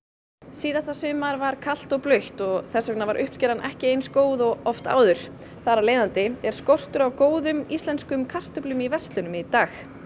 síðasta sumar var kalt og blautt og þess vegna uppskeran ekki eins góð og oft áður þar af leiðandi er skortur á góðum íslenskum kartöflum í verslunum í dag